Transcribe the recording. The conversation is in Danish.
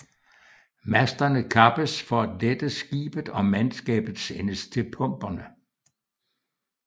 Masterne kappes for at lette skibet og mandskabet sendes til pumperne